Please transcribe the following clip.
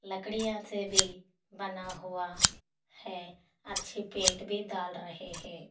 लकड़िया से भी बना हुआ है अच्छी पेट भी दाल रहे है।